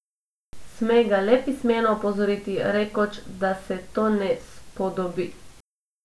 Sme ga le pismeno opozoriti, rekoč, da se to ne spodobi.